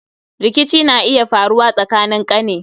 Rikici na iya faruwa tsakanin ƙane